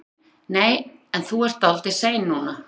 Heimir: Nei en þú ert dálítið sein núna?